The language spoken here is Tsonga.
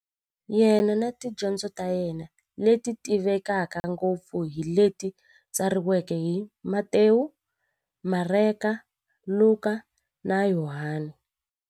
Yena na tidyondzo ta yena, leti tivekaka ngopfu hi leti tsariweke hi-Matewu, Mareka, Luka, na Yohani.